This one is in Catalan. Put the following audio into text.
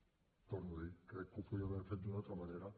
ho torno a dir crec que ho podíem haver fet d’una altra manera